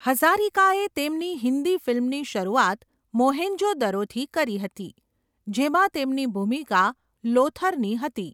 હઝારિકાએ તેમની હિન્દી ફિલ્મની શરૂઆત 'મોહેંજો દરો'થી કરી હતી, જેમાં તેમની ભૂમિકા લોથરની હતી.